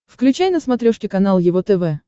включай на смотрешке канал его тв